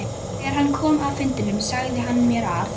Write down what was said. Þegar hann kom af fundinum sagði hann mér að